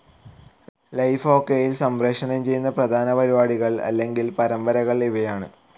Life ഒകെയിൽ സംപ്രേഷണം ചെയ്യുന്ന പ്രധാന പരിപാടികൾ അല്ലെങ്കിൽ പരമ്പരകൾ ഇവയാണ്.